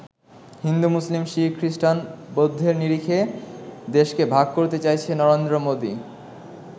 হিন্দু, মুসলিম, শিখ, খ্রিস্টান, বৌদ্ধের নিরিখে দেশকে ভাগ করতে চাইছে নরেন্দ্র মোদি।